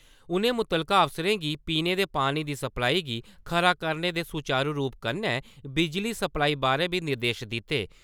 उ`नें मुतलका अफसरें गी पीने दे पानी दी सप्लाई गी खरा करने ते सुचारु रूपै कन्नै बिजली सप्लाई बारै बी निर्देश दिते ।